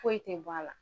Foyi tɛ bɔ a la